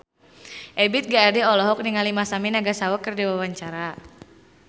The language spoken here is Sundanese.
Ebith G. Ade olohok ningali Masami Nagasawa keur diwawancara